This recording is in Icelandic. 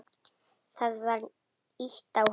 Það var ýtt á hann.